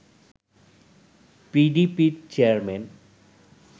পিডিপির chairman